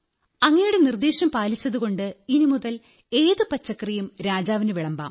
അങ്ങയുടെ നിർദ്ദേശം പാലിച്ചതുകൊണ്ട് ഇനിമുതൽ ഏതു പച്ചക്കറിയും രാജാവിനു വിളമ്പാം